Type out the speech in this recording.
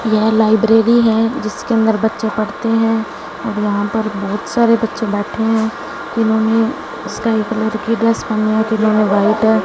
यह लाइब्रेरी है जिसके अंदर बच्चे पढ़ते हैं और यहां पर बहुत सारे बच्चे बैठे हैं इन्होंने स्काई कलर की ड्रेस पहनी है में व्हाइट है।